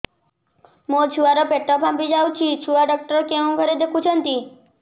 ମୋ ଛୁଆ ର ପେଟ ଫାମ୍ପି ଯାଉଛି ଛୁଆ ଡକ୍ଟର କେଉଁ ଘରେ ଦେଖୁ ଛନ୍ତି